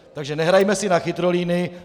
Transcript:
Takže nehrajme si na chytrolíny.